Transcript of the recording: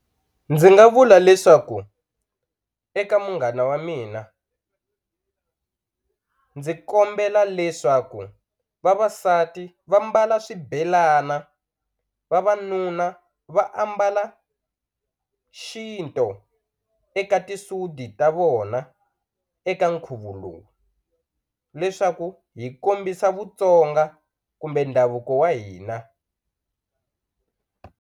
Ndzi nga vula leswaku eka munghana wa mina ndzi kombela leswaku vavasati va mbala swibelana vavanuna va ambala xintu eka tisudi ta vona eka nkhuvo lowu leswaku hi kombisa Vutsonga kumbe ndhavuko wa hina.